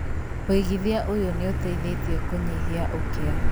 Wĩigithia ũyũ nĩ ũteithĩtie kũnyihia ũkĩa,